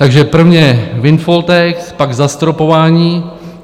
Takže prvně windfall tax, pak zastropování.